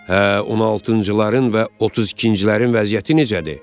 Hə, 16-cıların və 32-cilərin vəziyyəti necədir?